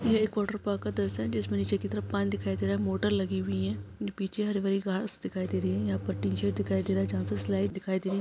यह एक water park का दृश्य है जिसमें नीचे की तरफ पानी दिखाई दे रहा है मोटर लगी हुई है पीछे हरी भरी घास दिखाई दे रही है यहाँ पर टीन शेड दिखाई दे रही है जहाँ से स्लाइड दिखाई दे रही--